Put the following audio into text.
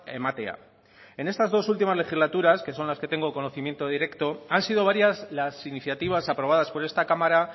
ematea en estas dos últimas legislaturas que son las que tengo conocimiento directo han sido varias las iniciativas aprobadas por esta cámara